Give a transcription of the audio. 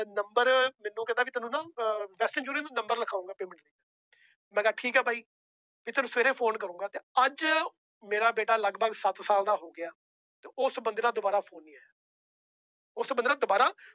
Number ਮੈਨੂੰ ਕਹਿੰਦਾ ਵੀ ਤੈਨੂੰ ਨਾ ਅਹ number ਲਿਖਾਵਾਂਗੇ payment ਲਈ ਮੈਂ ਕਿਹਾ ਠੀਕ ਹੈ ਬਾਈ ਵੀ ਤੈਨੂੰ ਸਵੇਰੇ phone ਕਰੂੰਗਾ ਤੇ ਅੱਜ ਮੇਰਾ ਬੇਟਾ ਲਗਪਗ ਸੱਤ ਸਾਲ ਦਾ ਹੋ ਗਿਆ ਤੇ ਉਸ ਬੰਦੇ ਦਾ ਦੁਬਾਰਾ phone ਨੀ ਆਇਆ ਉਸ ਬੰਦੇ ਦਾ ਦੁਬਾਰਾ